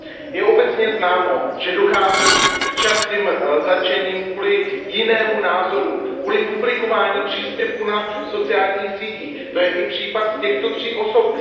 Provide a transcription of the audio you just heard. Je obecně známo, že dochází k častým zatčením kvůli jinému názoru, kvůli publikování příspěvku na sociálních sítích, to je i případ těchto tří osob.